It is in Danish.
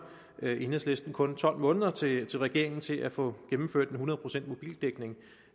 enhedslisten kun tolv måneder til til regeringen til at få gennemført en hundrede procents mobildækning